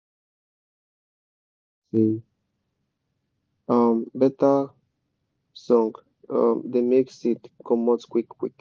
my um uncle yan me say um better song um da make seed comot quick quick